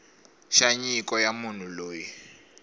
xa nyiko ya munhu loyi